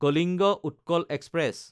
Kalinga Utkal express